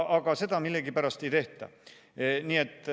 Aga seda millegipärast ei tehta.